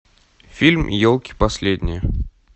фильм елки последние